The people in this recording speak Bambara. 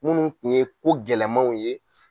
Minnu tun ye ko gɛlɛmanw ye